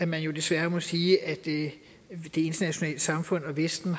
man jo desværre må sige at det internationale samfund og vesten